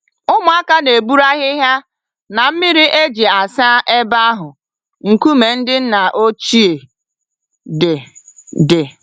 Ụmụaka na-eburu ahịhịa na mmiri e ji asa ebe ahụ nkume ndị nna ochie dị. dị.